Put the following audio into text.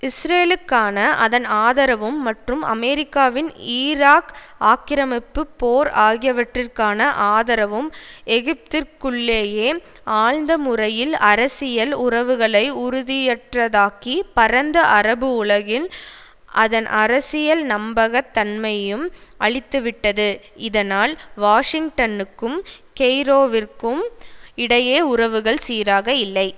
இஸ்ரேலுக்கான அதன் ஆதரவும் மற்றும் அமெரிக்காவின் ஈராக் ஆக்கிரமிப்பு போர் ஆகியவற்றிற்கான ஆதரவும் எகிப்திற்குள்ளேயே ஆழ்ந்த முறையில் அரசியல் உறவுகளை உறுதியற்றதாக்கி பரந்த அரபு உலகில் அதன் அரசியல் நம்பக தன்மையையும் அழித்துவிட்டது இதனால் வாஷிங்டனுக்கும் கெய்ரோவிற்கும் இடையே உறவுகள் சீராக இல்லை